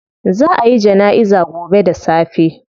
Zaa a yi janaiza gobe da safe